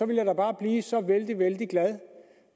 ville da bare blive så vældig vældig glad